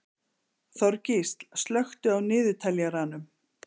Þorgísl, slökktu á niðurteljaranum.